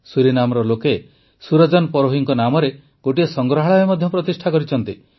ସୁରିନାମର ଲୋକେ ସୁରଜନ ପରୋହିଙ୍କ ନାମରେ ଗୋଟିଏ ସଂଗ୍ରହାଳୟ ମଧ୍ୟ ପ୍ରତିଷ୍ଠା କରିଛନ୍ତି